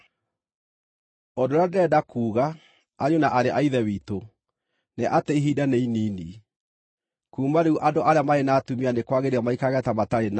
Ũndũ ũrĩa ndĩrenda kuuga, ariũ na aarĩ a Ithe witũ, nĩ atĩ ihinda nĩ inini. Kuuma rĩu andũ arĩa marĩ na atumia nĩ kwagĩrĩire maikarage ta matarĩ nao;